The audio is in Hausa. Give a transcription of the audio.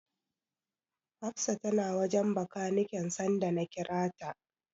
Hafsa tana wajen Bakaniken sanda na kira ta.